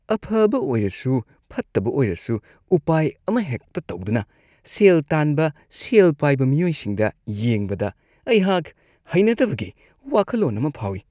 ꯑꯐꯕ ꯑꯣꯏꯔꯁꯨ ꯐꯠꯇꯕ ꯑꯣꯏꯔꯁꯨ ꯎꯄꯥꯏ ꯑꯃꯍꯦꯛꯇ ꯇꯧꯗꯨꯅ ꯁꯦꯜ ꯇꯥꯟꯕ ꯁꯦꯜ ꯄꯥꯏꯕ ꯃꯤꯑꯣꯏꯁꯤꯡꯗ ꯌꯦꯡꯕꯗ, ꯑꯩꯍꯥꯛ ꯍꯩꯅꯗꯕꯒꯤ ꯋꯥꯈꯜꯂꯣꯟ ꯑꯃ ꯐꯥꯎꯏ꯫